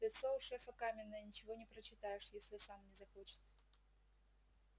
лицо у шефа каменное ничего не прочитаешь если сам не захочет